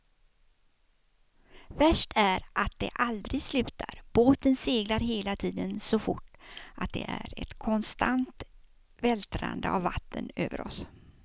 Värst är att det aldrig slutar, båten seglar hela tiden så fort att det är ett konstant vältrande av vatten över oss.